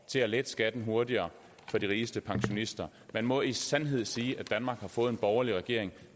til at lette skatten hurtigere for de rigeste pensionister man må i sandhed sige at danmark har fået en borgerlig regering